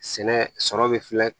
Sɛnɛ sɔrɔ bɛ filɛ